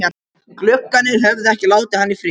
Gluggarnir höfðu ekki látið hann í friði.